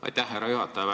Aitäh, härra juhataja!